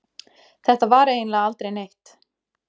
Þetta var eiginlega aldrei neitt.